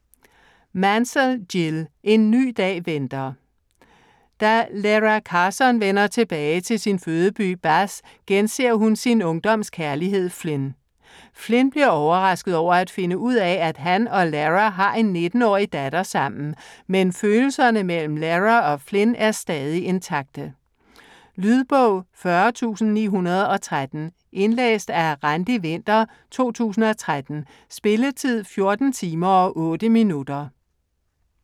Mansell, Jill: En ny dag venter Da Lara Carson vender tilbage til sin fødeby Bath, genser hun sin ungdoms kærlighed Flynn. Flynn bliver overrasket over at finde ud af at han og Lara har en 19-årig datter sammen, men følelserne mellem Lara og Flynn er stadig intakte. Lydbog 40913 Indlæst af Randi Winther, 2013. Spilletid: 14 timer, 8 minutter.